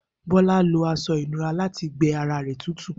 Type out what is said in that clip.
Bola lo aṣọ ìnura lati gbẹ ara rẹ tutu.